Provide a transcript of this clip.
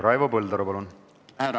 Raivo Põldaru, palun!